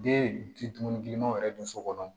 Den ti dumuni girinmanw yɛrɛ dun so kɔnɔ